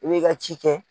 I b'i ka ci kɛ